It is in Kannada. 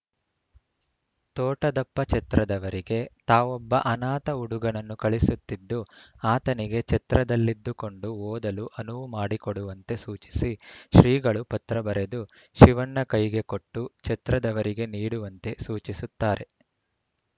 ತೋಟದಪ್ಪ ಛತ್ರದವರಿಗೆ ತಾವೊಬ್ಬ ಅನಾಥ ಹುಡುಗನನ್ನು ಕಳಿಸುತ್ತಿದ್ದು ಆತನಿಗೆ ಛತ್ರದಲ್ಲಿದ್ದುಕೊಂಡು ಓದಲು ಅನುವು ಮಾಡಿಕೊಡುವಂತೆ ಸೂಚಿಸಿ ಶ್ರೀಗಳು ಪತ್ರ ಬರೆದು ಶಿವಣ್ಣ ಕೈಗೆ ಕೊಟ್ಟು ಛತ್ರದವರಿಗೆ ನೀಡುವಂತೆ ಸೂಚಿಸುತ್ತಾರೆ